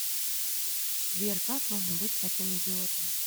сбер как можно быть таким идиотом